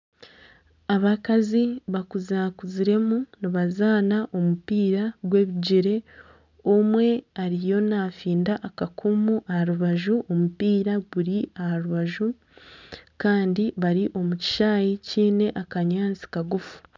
Abakazi bakuzakuziremu ni bazaana omupiira gw'ebigyere omwe ariyo nafinda akakumu aha rubaju. Omupiira guri aha rubaju kandi bari omu kishaayi kiine akanyaatsi kagufu.